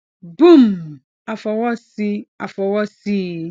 boom a fọwọ sí a fọwọ sí i